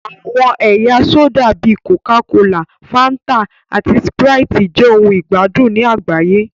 Àwọn ẹ̀yà sódà bíi kòká kolà, Fáńtà, àti Sprite jẹ́ ohun ìgbádùn ní àgbáyé